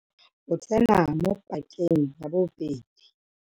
O tsena mo pakeng ya bobedi.